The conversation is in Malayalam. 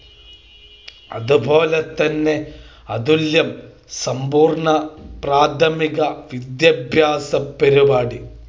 അതുപോലെ തന്നെ അതുല്യം സമ്പൂർണ്ണ പ്രാഥമിക വിദ്യാഭ്യാസ പരിപാടി